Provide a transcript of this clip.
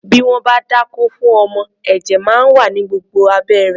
Bí wọ́n bá dákó fún ọmọ, ẹ̀jẹ̀ máa wà ní gbogbo abẹ́ rẹ̀.